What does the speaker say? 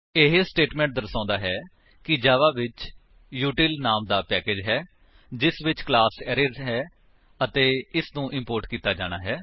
ਇਹ ਸਟੇਟਮੇਂਟ ਦਰਸਾਉਂਦਾ ਹੈ ਕਿ ਜਾਵਾ ਵਿੱਚ ਉਤਿਲ ਨਾਮ ਦਾ ਪੈਕੇਜ ਹੈ ਜਿਸ ਵਿਚ ਕਲਾਸ ਅਰੇਜ਼ ਹੈ ਅਤੇ ਇਸਨੂੰ ਇਮ੍ਪੋਰਟ ਕੀਤਾ ਜਾਣਾ ਹੈ